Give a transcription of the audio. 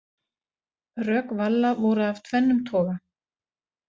Rök Valla voru af tvennum toga.